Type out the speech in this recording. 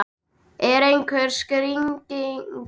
Er einhver skýring á því?